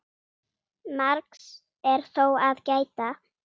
Margs er þó að gæta.